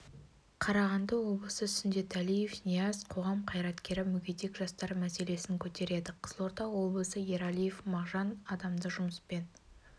қарағанды облысы сүндеталиев нияз қоғам қайраткері мүгедек жастар мәселесін көтереді қызылорда облысы ералиев мағжан адамды жұмыспен